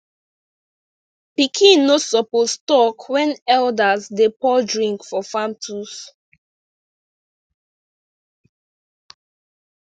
pikin no suppose talk when elders dey pour drink for farm tools